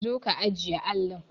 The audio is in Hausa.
Zo ka ajiye allin!